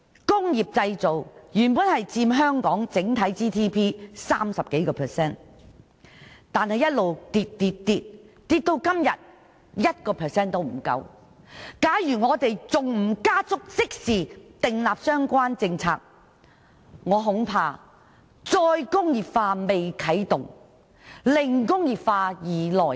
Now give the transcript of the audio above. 工業製造原本佔香港整體 GDP 30% 以上，這比率近年卻不斷下跌，跌至今天不足 1%， 假如我們仍不加速訂立相關政策，恐怕"再工業化"未啟動，"零工業化"已來臨。